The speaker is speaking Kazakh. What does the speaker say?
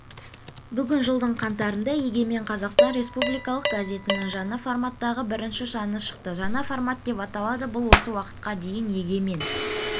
бүгін жылдың қаңтарында егемен қазақстан республикалық газетінің жаңа форматтағы бірінші саны шықты жаңа формат деп аталады бұл осы уақытқа дейін егемен